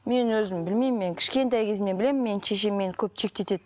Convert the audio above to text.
мен өзім білмеймін мен кішкентай кезімнен білемін мен шешем мені көп шектетеді